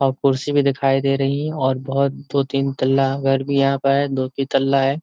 औ कुर्सी भी दिखाई दे रही है और बोहोत दो तीन तल्ला घर भी यहाँ प है। दो की तल्ला है।